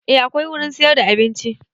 A akwai wurin siyar da abinci